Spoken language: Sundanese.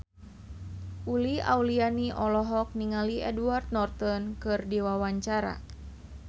Uli Auliani olohok ningali Edward Norton keur diwawancara